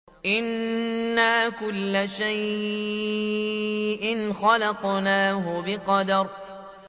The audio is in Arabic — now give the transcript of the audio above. إِنَّا كُلَّ شَيْءٍ خَلَقْنَاهُ بِقَدَرٍ